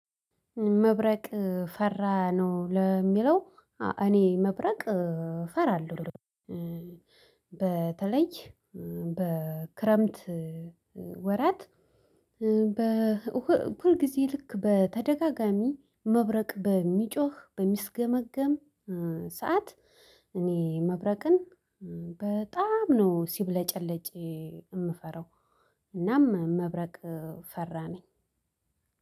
መብረቅ ፈራ ነው ለሚለው? እኔ መብረቅ ፈራለሁ። በተለይ በክረምት ወራት በ በሁልጊዜ ልክ በተደጋጋሚ መብረቅ በሚጮህ በሚስገመገም ሰዓት እኔ መብረቅን በጣም ነው ሲብለጨለጭ የምፈራው። እናም መብረቅ ፈራ ነኝ።